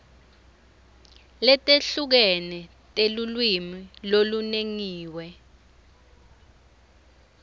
letehlukene telulwimi lolunongiwe